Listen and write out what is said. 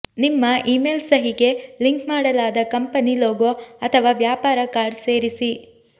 ನಿಮ್ಮ ಇಮೇಲ್ ಸಹಿಗೆ ಲಿಂಕ್ ಮಾಡಲಾದ ಕಂಪನಿ ಲೋಗೊ ಅಥವಾ ವ್ಯಾಪಾರ ಕಾರ್ಡ್ ಸೇರಿಸಿ